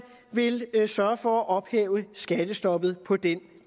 vil sørge for at ophæve skattestoppet på den